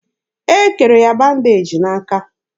E kere ya bandeji n'aka.